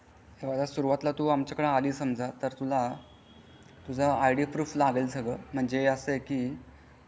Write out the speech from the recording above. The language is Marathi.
हे बघा सुरवातीला तू आमच्याकडं अली समझा तुझा ईडी प्रूफ लागेल सगळं म्हणजे असा आहे.